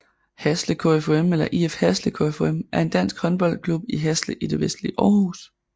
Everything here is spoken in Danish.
Hasle KFUM eller IF Hasle KFUM er en dansk håndboldklub i Hasle i det vestlige Aarhus